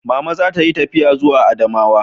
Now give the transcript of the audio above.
Mama za ta yi tafiya zuwa Adamawa